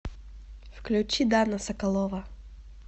включи дана соколова